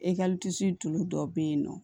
tulu dɔ be yen nɔ